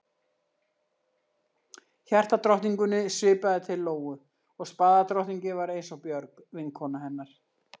Hjartadrottningunni svipaði til Lóu og spaðadrottningin var eins og Björg, vinkona hennar.